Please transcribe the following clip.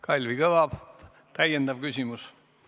Kalvi Kõva, täiendav küsimus!